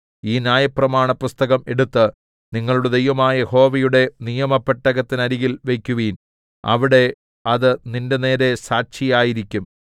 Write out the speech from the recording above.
ഈ ന്യായപ്രമാണപുസ്തകം എടുത്ത് നിങ്ങളുടെ ദൈവമായ യഹോവയുടെ നിയമ പെട്ടകത്തിനരികിൽ വയ്ക്കുവിൻ അവിടെ അത് നിന്റെനേരെ സാക്ഷിയായിരിക്കും